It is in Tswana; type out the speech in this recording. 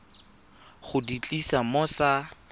go di tlisa mo sa